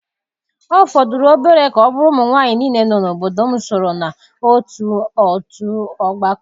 Ọ fọdụrụ obere ka ọ bụrụ ụmụ nwanyị niile nọ n'obodo m soro na otu otú ọgbakọ.